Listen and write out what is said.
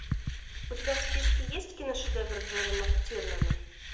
у тебя в списке есть киношедевр джона мактирнана